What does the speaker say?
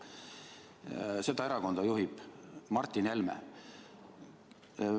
Seda erakonda juhib Martin Helme.